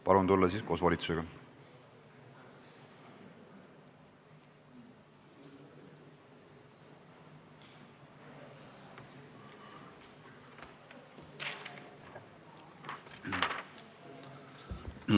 Palun tulla siis koos volitusega!